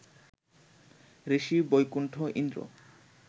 Rishi Baikuntha Indra